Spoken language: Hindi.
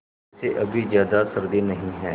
वैसे अभी ज़्यादा सर्दी नहीं है